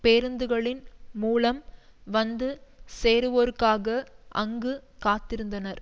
பேருந்துகளின் மூலம் வந்து சேருவோருக்காக அங்கு காத்திருந்தனர்